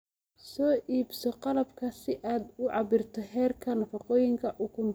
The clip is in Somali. Soo iibso qalabka si aad u cabbirto heerka nafaqooyinka ukunta.